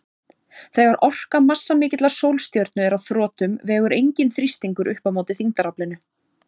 Þegar orka massamikillar sólstjörnu er á þrotum vegur enginn þrýstingur upp á móti þyngdaraflinu.